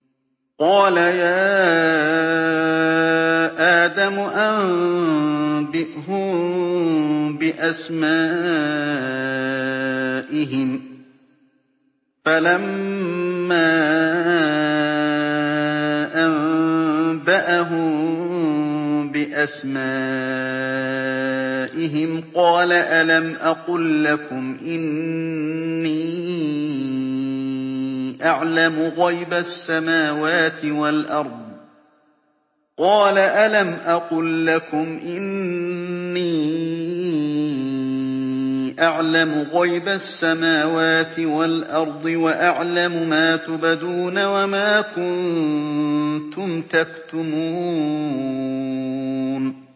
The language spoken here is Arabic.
قَالَ يَا آدَمُ أَنبِئْهُم بِأَسْمَائِهِمْ ۖ فَلَمَّا أَنبَأَهُم بِأَسْمَائِهِمْ قَالَ أَلَمْ أَقُل لَّكُمْ إِنِّي أَعْلَمُ غَيْبَ السَّمَاوَاتِ وَالْأَرْضِ وَأَعْلَمُ مَا تُبْدُونَ وَمَا كُنتُمْ تَكْتُمُونَ